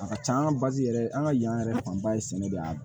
A ka can an ka bazi yɛrɛ an ka yan yɛrɛ fanba ye sɛnɛ de ye an